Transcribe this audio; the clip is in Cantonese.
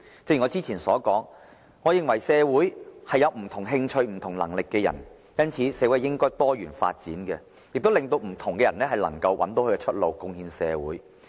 正如我之前所說，我認為社會有不同興趣、不同能力的人，因此社會應該多元發展，令不同的人找到出路，貢獻社會。